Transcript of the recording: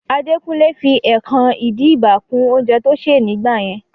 Adekunle fi ẹkan-idiba kún oúnjẹ tó ṣè ní gbà yẹn